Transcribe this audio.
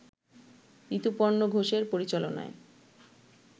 ঋতুপর্ণ ঘোষের পরিচালনায়